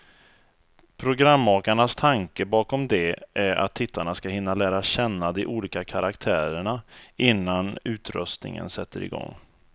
Programmakarnas tanke bakom det är att tittarna ska hinna lära känna de olika karaktärerna, innan utröstningen sätter igång.